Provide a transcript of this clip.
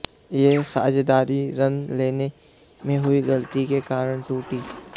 यह साझेदारी रन लेने में हुई गलती के कारण टूटी